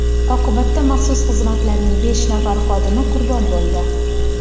Oqibatda maxsus xizmatlarning besh nafar xodimi qurbon bo‘ldi.